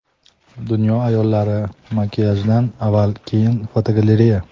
Dunyo ayollari makiyajdan avval va keyin (fotogalereya).